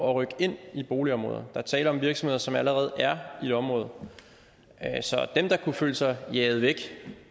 at rykke ind i boligområder er tale om virksomheder som allerede er i området så dem der kunne føle sig jaget væk